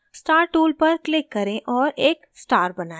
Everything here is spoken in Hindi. star tool पर click करें और एक star बनाएं